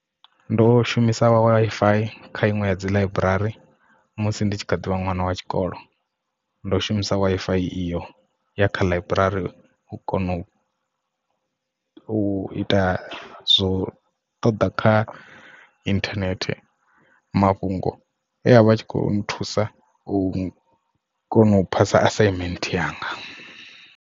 Ndo shumisa Wi-Fi kha iṅwe ya dzi ḽaiburari musi ndi tshi kha ḓivha ṅwana wa tshikolo ndo shumisa Wi-Fi iyo ya kha ḽaiburari u kona u u ita zwo ṱoḓa kha internet mafhungo ane e avha a tshi khou thusa u kona u phasa assignment yanga.